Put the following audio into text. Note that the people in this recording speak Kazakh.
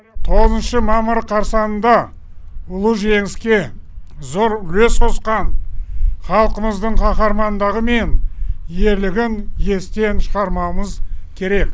тоғызыншы мамыр қарсаңында ұлы жеңіске зор үлес қосқан халқымыздың қаһармандары мен ерлігін естен шығармауымыз керек